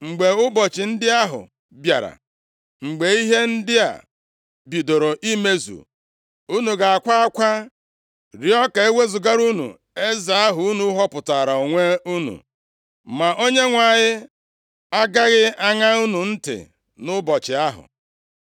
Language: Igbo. Mgbe ụbọchị ndị ahụ bịara, mgbe ihe ndị a bidoro imezu, unu ga-akwa akwa, rịọọ ka e wezugara unu eze ahụ unu họpụtaara onwe unu, ma Onyenwe anyị agaghị aṅa unu ntị nʼụbọchị ahụ.”